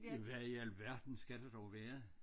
Hvad i alverden skal det dog være?